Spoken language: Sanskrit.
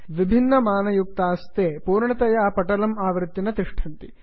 विभिन्नमानयुक्ताः ते पूर्णतया पटलम् आवृत्य न तिष्ठन्ति